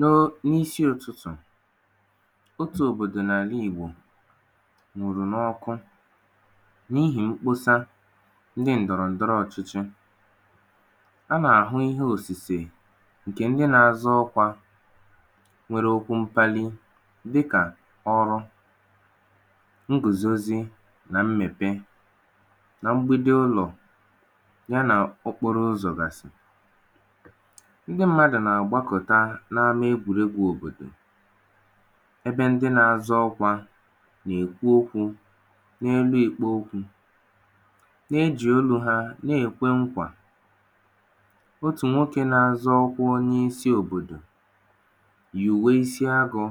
na, n’isi ụtụtụ̀, otū òbòdò n’àla Ìgbò nwùrù n’ọkụ, n’ihì mkposa ǹdọ̀rọ̀ ǹdọrọ ọchịchị. a nà àhụ ihe òsìsè, ǹkè ndị na azọ ọkwā nwẹrẹ okwu mkpali, dịkà ọr ụ, ngùzozi, nà mmẹ̀pẹ, na mbido ụnọ̀, y anà okporo ụzọ̀ gàsị̀. ndị mmadù nà àgbakọ̀ta n’ama egwùregwu òbòdò, ẹbẹ ndị na azọ ọkwā nà èkwu okwū, nọ̀ọ nà èkwu okwū, na ejì onū ha wẹ̀ẹ nà ẹ̀kwẹ nkwà. otù nwoke na azọ ọkwā onye isī òbòdò, yị̀we isi agụ̄,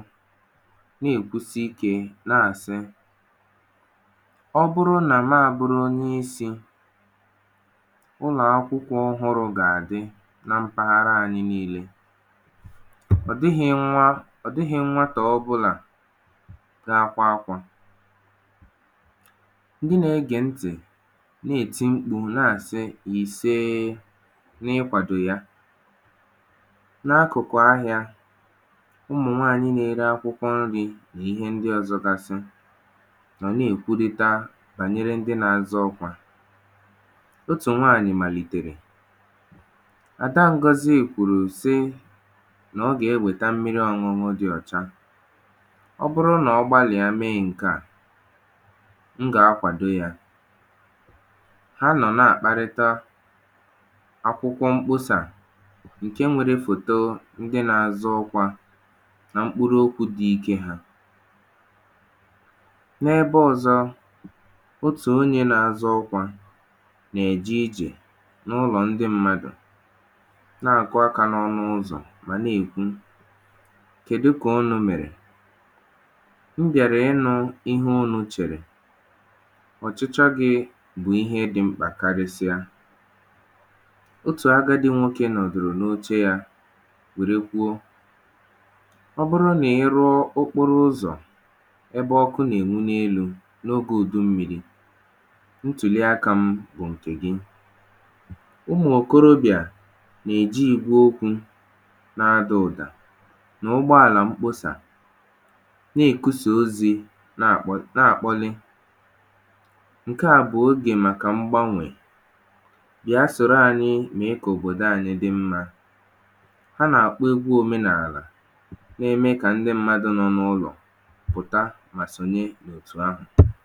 nà èkwusi ike, nà àsị, ọ bụrụ nà m abụ̄rụ onye isī, ụlọ̀ akwụkwọ̄ ọhụrụ̄ gà àdị na mpaghara a nille. ọ̀ dighị nwa, ọ̀ dịghị nwatā ọbụnà na akwa akwà. ndị na ẹgẹ̀ ntì na eti mkpụ̄, nà àsị ìsee, n’ịkwàdò ya. n’akụ̀kụ̀ ahịa, ụmụ̀ nwaanyị na ele akwụkwọ nrī, nà ịhẹ ndị ọzọ gasị, nọ̀ nà èkwurita bànyẹrẹ ndị na azọ ọkwā. otù nwànyị̀ màlìtèrè, ‘Pàpa Ngọzị kwùrù sị, nà ọ gà ẹ wèta mmiri ọñụñụ dị ọ̀cha. ọ bụrụ nà ọ gbalị̀a me ǹkè à, m gà a kwàdo ya. ha nọ̀ nà àkparịta akwụkwọ mkposà, ǹke nwere fòto ndị na azọ ọkwā, na mkpụrụ okwū dị ikē ha. n’ẹbẹ ọzọ, otù onyē na azọ ọkwā nà ẹ̀jẹ ijè. otù onyē na azọ ọkwā nà ẹ̀jẹ ijè, n’ụlọ̀ ndị mmadù, nà àkụ akā n’ọnụ ụzọ̀, mà nà èkwu, “kẹ̀du kà unụ̄ mẹ̀rẹ̀? m bị̀àrà ị nụ̄ ịhẹ unū chẹ̀rẹ̀. ọ̀chịchọ gị̄ bụ̀ ihe dị̄ mkpà karịsịa. otù agadī nwoke nọ̀dòrò n’oche ya wèe kwuo, ‘ọ bụrụ nà ị rụọ okporo uzọ̀, ebe ọkụ nà ènwu n’enū, n’ogē ùdu mmirī, ntùnye akā m bụ̀ ǹkè gị. ụmụ̀ ìkorobị̀à nà èji ìgbe okwū, na adà ụ̀da. n’ụgbọàlà mkposà, nà èkwụsà ozī, nà àkpọlị. ǹkẹ à bù obì màkà mgbanwè. bị̀a sòro anyị mèe kà òbòdo anyị dị mmā. ha nà àkpọ egwu òmenàlà, na ẹmẹ kà ndị mmadū nọ n’ụlọ̀ pụ̀ta mà sònye n’òtù ahụ.